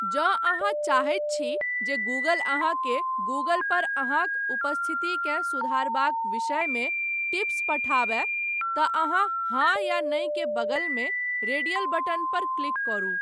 जँ अहाँ चाहैत छी जे गूगल अहाँकेँ गूगल पर अहाँक उपस्थितिकेँ सुधारयबाक विषयमे टिप्स पठाबय तँ अहाँ 'हाँ' या 'नहि ' के बगल मे रेडियल बटन पर क्लिक करू।